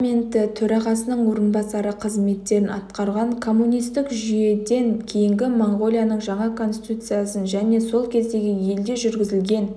парламенті төрағасының орынбасары қызметтерін атқарған коммунистік жүйеден кейінгі моңғолияның жаңа конституциясын және сол елде жүргізілген